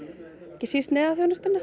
ekki síst